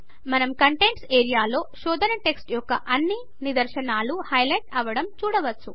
మనం కంటెంట్స్ ఏరియాలో శోధన టెక్స్ట్ యొక్క అన్నీ నిదర్శనాలు హైలైట్ అవడం చూడవచ్చు